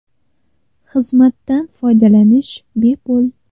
Xizmatdan foydalanish bepul.